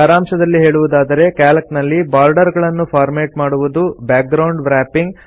ಸಾರಾಂಶದಲ್ಲಿ ಹೇಳುವುದಾದರೆ ಕ್ಯಾಲ್ಕ್ ನಲ್ಲಿ ಬಾರ್ಡರ್ ಗಳನ್ನು ಫಾರ್ಮೆಟ್ ಮಾಡುವುದು ಬ್ಯಾಗ್ರೌಂಡ್ ವ್ರಾಪಿಂಗ್